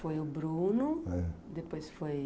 Foi o Bruno, depois foi...